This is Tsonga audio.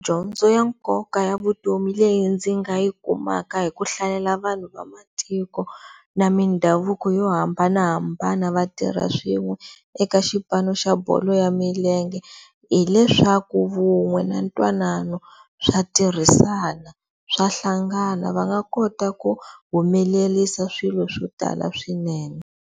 Dyondzo ya nkoka ya vutomi leyi ndzi nga yi kumaka hi ku hlayela vanhu va matiko na mindhavuko yo hambanahambana vatirhi swin'we eka xipano xa bolo ya milenge hileswaku vun'we na ntwanano swa tirhisana, swa hlangana va nga kota ku humelerisa swilo swo tala swinene.